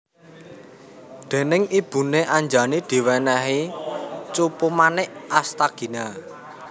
Déning ibune Anjani diwènèhi Cupumanik Astagina